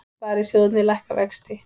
Sparisjóðirnir lækka vexti